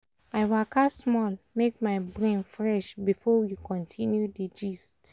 i waka small make my brain fresh before we continue di gist.